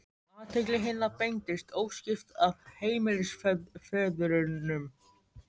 Athygli hinna beindist óskipt að heimilisföðurnum.